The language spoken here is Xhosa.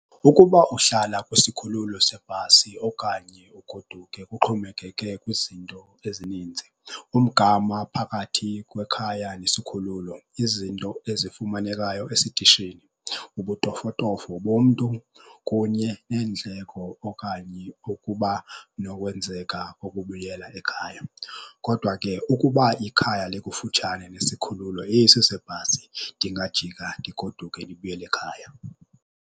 Ukuba uhlala kwisikhululo sebhasi okanye ugoduke kuxhomekeke kwizinto ezininzi. Umgama phakathi kwekhaya nesikhululo, izinto ezifumanekayo esitishini, ubutofotofo bomntu kunye neendleko okanye ukuba nokwenzeka ukubuyela ekhaya. Kodwa ke ukuba ikhaya likufutshane nesikhululo esi sebhasi, ndingajika ndigoduke, ndibuyele ekhaya.